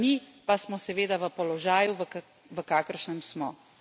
Dokler pa tega ni, pa smo seveda v položaju, v kakršnem smo.